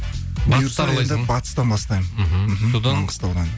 батыстан бастаймын мхм маңғыстаудан